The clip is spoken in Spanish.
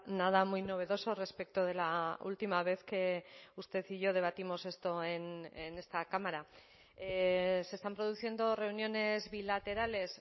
nada muy novedoso respecto de la última vez que usted y yo debatimos esto en esta cámara se están produciendo reuniones bilaterales